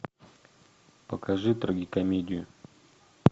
покажи трагикомедию